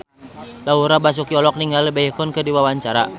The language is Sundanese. Laura Basuki olohok ningali Baekhyun keur diwawancara